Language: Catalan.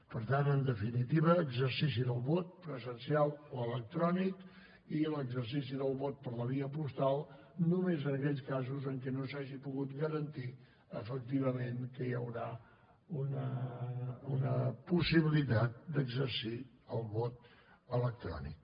per tant en definitiva exercici del vot presencial o electrònic i l’exercici del vot per la via postal només en aquells casos en què no s’hagi pogut garantir efectivament que hi haurà una possibilitat d’exercir el vot electrònic